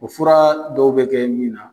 O fɔra dɔw bɛ kɛ min na.